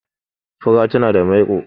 fura tana da maiko